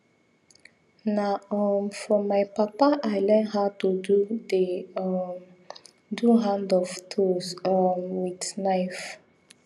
na um from my papa i learn how to do the um do hand of tools um with knife